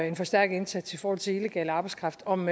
en forstærket indsats i forhold til illegal arbejdskraft om